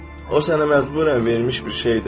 O sənə məcburiən verilmiş bir şeydir.